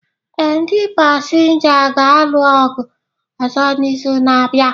Ee, ndi pasinja ga-alụ ọgụ ọzọ n'izu na-abịa.